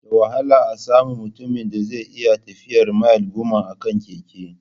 Da wahala a samu mutumin da zai iya tafiyar mil goma a kan keke